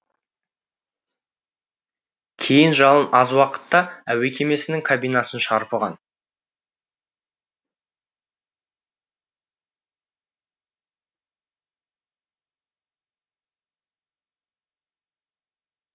кейін жалын аз уақытта әуе кемесінің кабинасын шарпыған